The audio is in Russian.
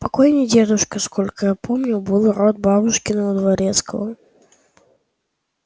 покойный дедушка сколько я помню был род бабушкиного дворецкого